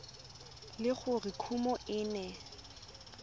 le gore kumo e ne